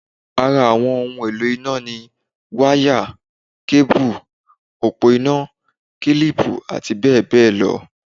Ara àwọn ohun èlò iná ni: wá yà, kébù, òpó iná, kílìpù àti bẹ́ẹ̀ bẹ́ẹ̀ lọ